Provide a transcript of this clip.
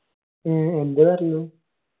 ഏ എന്ത് കാരണം?